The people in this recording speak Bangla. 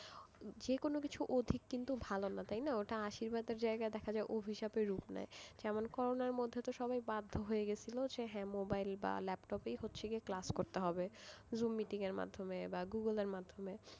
যে কোনো কিছু অধিক কিন্তু ভালো না তাই না ওটা আশীর্বাদের জায়গায় দেখা যায় অভিশাপে রুপ নেয় যেমন করোনার মধ্যে সবাই বাধ্য হয়ে গিয়েছিল যে হ্যাঁ মোবাইল বা ল্যাপটপই হচ্ছে class করতে হবে জুম এর মাধ্যমে বা গুগল এর মাধ্যমে,